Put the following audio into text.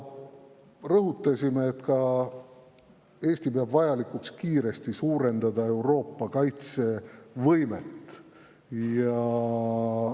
Rõhutasime, et Eesti peab vajalikuks suurendada kiiresti Euroopa kaitsevõimet.